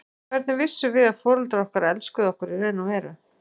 Hvernig vissum við að foreldrar okkar elskuðu okkur í raun og veru?